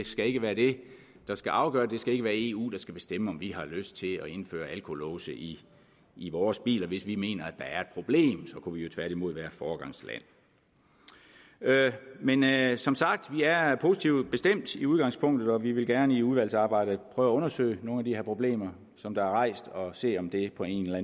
skal ikke være det der skal afgøre det det skal ikke være eu der skal bestemme om vi har lyst til at indføre alkolåse i i vores biler hvis vi mener at der er et problem så kunne vi jo tværtimod være foregangsland men som sagt vi er positive i udgangspunktet og vi vil gerne i udvalgsarbejdet prøve at undersøge nogle af de her problemer som der er rejst og se om det på en eller